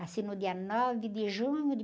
Nasci no dia nove de junho de